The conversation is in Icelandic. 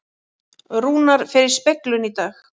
Rúnar fer í speglun í dag